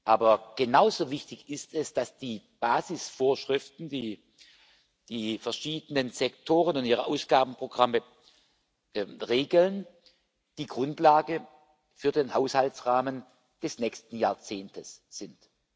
Aber genauso wichtig ist es, dass die Basisvorschriften, die die verschiedenen Sektoren und ihre Ausgabenprogramme regeln, die Grundlage für den Haushaltsrahmen des nächsten Jahrzehnts sind.